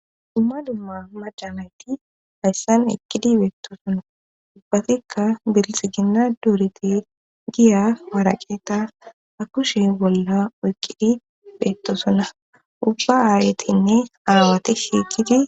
Dumma dumma majamayti hayssan eqkidi beettosonna ubbatikka bilxiginna duorete giya baraqeta ha kushe bolla oyqqidi beettosonna ubba aaretinne aawati shiiqidi